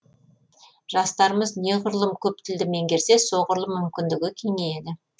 жастарымыз неғұрлым көп тілді меңгерсе соғұрлым мүмкіндігі кеңейеді